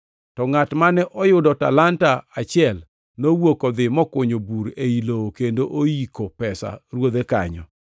To ngʼat mane oyudo talanta achiel nowuok odhi mokunyo bur ei lowo, kendo oyiko pesa ruodhe kanyo.